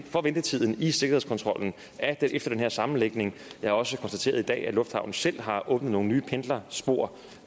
for ventetiden i sikkerhedskontrollen efter den her sammenlægning jeg har også konstateret i dag at lufthavnen selv har åbnet nogle nye pendlerspor